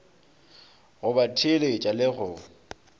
go ba theeletša le go